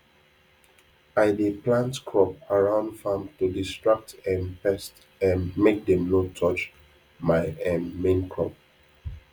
i dey plant crop around farm to distract um pest um make dem no touch my um main crop